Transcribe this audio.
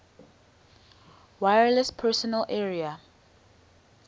wireless personal area